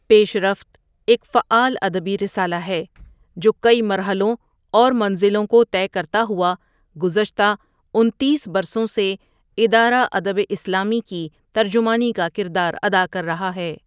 پیش رفت ایک فعال ادبی رسالہ ہے، جو کئی مرحلوں اور منزلوں کو طے کرتا ہوا گزشتہ انتیس ؍برسوں سے ادارہ ادب اسلامی کی ترجمانی کا کردار ادا کررہا ہے ۔